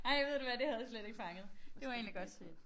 Ej ved du hvad det havde jeg slet ikke fanget det var egentlig godt set